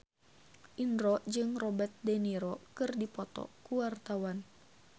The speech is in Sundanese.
Indro jeung Robert de Niro keur dipoto ku wartawan